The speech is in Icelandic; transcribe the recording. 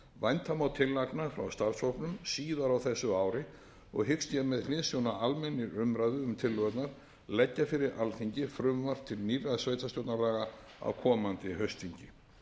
vænta má tillagna frá starfshópnum síðar á þessu ári og hyggst ég með hliðsjón af almennri umræðu um tillögurnar leggja fyrir alþingi frumvarp til nýrra sveitarstjórnarlaga á komandi haustþingi